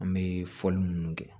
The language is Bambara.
An bɛ fɔli minnu kɛ